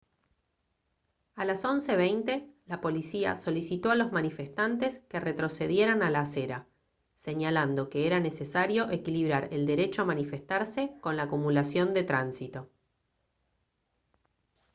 a las 11:20 la policía solicitó a los manifestantes que retrocedieran a la acera señalando que era necesario equilibrar el derecho a manifestarse con la acumulación de tránsito